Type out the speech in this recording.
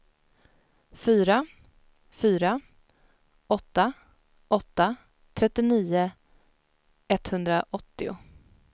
fyra fyra åtta åtta trettionio etthundraåttio